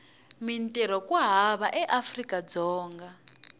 mintirho ku hava eafrika dzonga